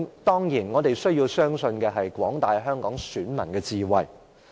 當然，我們需要相信廣大香港選民的智慧。